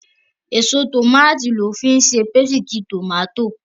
Èso tòmáàtì lọ́ fi ń ṣe pésìtì tòmátò.